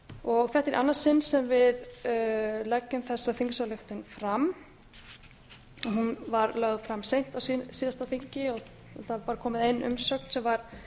þetta er í annað sinn sem leggjum fram þessa þingsályktunartillögu hún var lögð fram seint á síðasta þingi og það er bara komin ein umsögn sem var